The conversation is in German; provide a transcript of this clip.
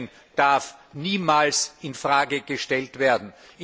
Schengen darf niemals in Frage gestellt werden!